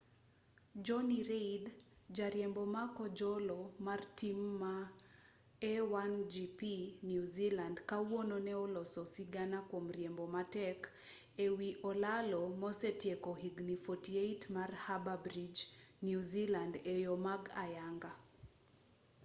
jonny reid jariembo ma kojolo mar tim ma a1gp new zealand kawuono ne oloso sigana kwom riembo matek e wi olalo mosetieko higni 48 mar harbour bridge new zealand e yo ma ayanga